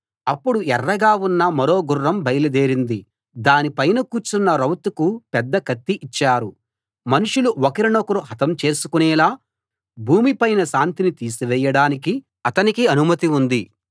అప్పుడు ఎర్రగా ఉన్న మరో గుర్రం బయల్దేరింది దాని పైన కూర్చున్న రౌతుకు పెద్ద కత్తి ఇచ్చారు మనుషులు ఒకరినొకరు హతం చేసుకునేలా భూమి పైన శాంతిని తీసివేయడానికి అతనికి అనుమతి ఉంది